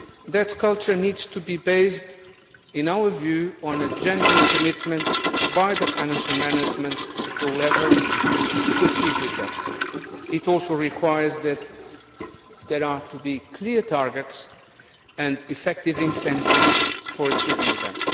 That culture needs to be based, in our view, on a genuine commitment by the financial management at all levels to achieve results. It also requires there to be clear targets and effective incentives for achieving them.